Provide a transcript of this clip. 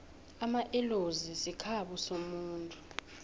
amaellozi sikhabo somuntu